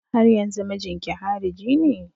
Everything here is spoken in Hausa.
Haryanzun mijinki hariji ne?